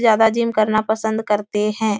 ज्यादा जिम करना पसंद करते हैं।